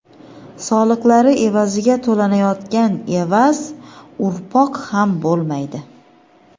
soliqlari evaziga to‘lanayotgan evaz urpoq ham bo‘lmaydi.